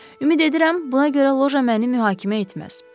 Ümid edirəm, buna görə loja məni mühakimə etməz.